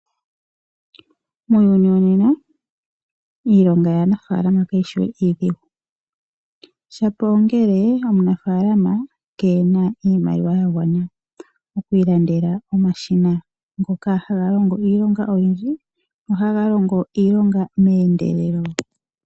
Muuyuni wonena iilonga yaanafaalama kayishi we iidhigu shapo ongele omunafaalama keena iimaliwa ya gwana okwiilandela omashina ngoka haga longo iilonga oyindji nohaga longo iilonga meendelelo.